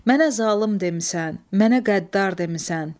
Mənə zalım demisən, mənə qəddar demisən.